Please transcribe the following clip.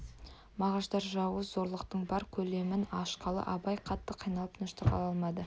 мағаштар жауыз зорлықтың бар көлемін ашқалы абай қатты қиналып тыныштық ала алмады